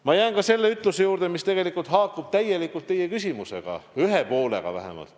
Ma jään ka selle ütluse juurde, mis tegelikult haakub täielikult teie küsimusega, ühe poolega vähemalt.